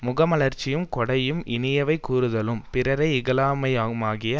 முகமலர்ச்சியும் கொடையும் இனியவை கூறுதலும் பிறரை இகழாமையுமாகிய